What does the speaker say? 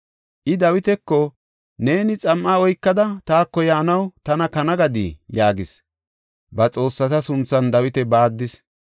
I Dawitako, “Neeni xam7a oykada taako yaanaw tana kana gadii?” yaagis. Ba xoossata sunthan Dawita baaddis.